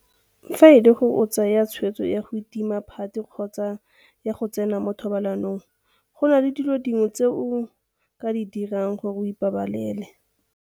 Fa e le gore o tsaya tshwetso ya go itima phate kgotsa ya go tsena mo thobalanong, go na le dilo dingwe tse o ka di dirang gore o ipabalele.